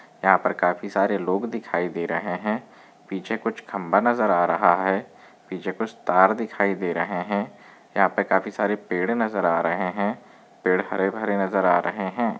यहा पर काफी सारे लोग दिखाई दे रहे है पीछे कुछ खंबा नजर आ रहा है पीछे कुछ तार दिखाई दे रहे है यहा पे काफी सारे पेड़ नजर आ रहे है पेड़ हरे भरे नजर आ रहे है।